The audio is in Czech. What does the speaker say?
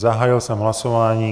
Zahájil jsem hlasování.